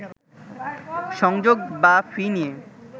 সংযোগ বা ফি নিয়ে